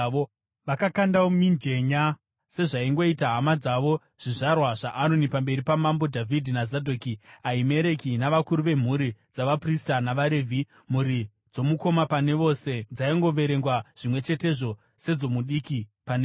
Vakakandawo mijenya sezvaingoita hama dzavo zvizvarwa zvaAroni, pamberi paMambo Dhavhidhi naZadhoki, Ahimereki navakuru vemhuri dzavaprista navaRevhi. Mhuri dzomukoma pane vose dzaingoverengwa zvimwe chetezvo sedzomudiki pane vose.